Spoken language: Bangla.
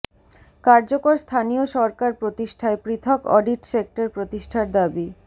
কার্যকর স্থানীয় সরকার প্রতিষ্ঠায় পৃথক অডিট সেক্টর প্রতিষ্ঠার দাবি